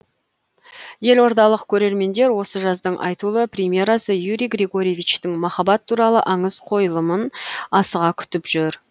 елордалық көрермендер осы жаздың айтулы премьерасы юрий григоровичтің махаббат туралы аңыз қойылымын асыға күтіп жүр